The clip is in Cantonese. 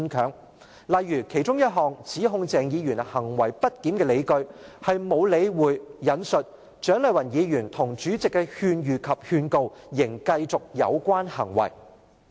舉例而言，其中一項指控鄭議員行為不檢的理據是沒有理會"蔣麗芸議員及立法會主席的勸喻及警告，仍繼續有關行為"。